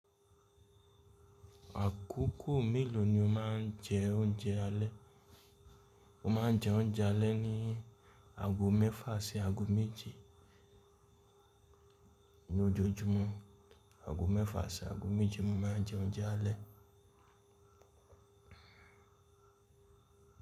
Àkókò mélòó ni o má ń jẹ oúnjẹ alẹ́? Mo máa ń jẹ oúnjẹ alẹ́ ní ago mẹ́fà sí ago méje lójojúmọ́, ago mẹ́fà sí ago méje mo máa ń jẹ oúnjẹ alẹ́.